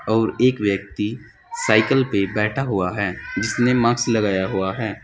और एक व्यक्ति साइकिल पर बैठा हुआ है जिसने मास्क लगाया हुआ है।